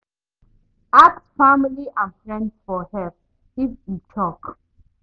Ask family and friends for help, if e choke